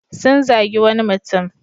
Sun zagi wani mutum.